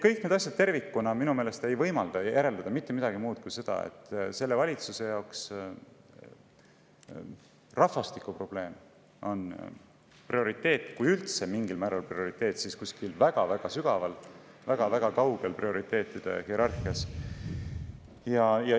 Kõik need asjad tervikuna ei võimalda järeldada mitte midagi muud kui seda, et selle valitsuse jaoks on rahvastikuprobleem, kui see üldse mingil määral prioriteet on, prioriteetide hierarhias kuskil väga-väga sügaval, väga-väga kaugel.